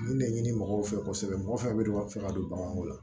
Nin de ɲini mɔgɔw fɛ kosɛbɛ mɔgɔ fɛn fɛn bɛ fɛ ka don baganw la